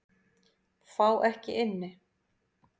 Fá ekki inni